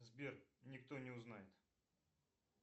сбер никто не узнает